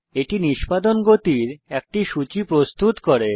এটি নিষ্পাদন গতির একটি সূচী প্রস্তুত করে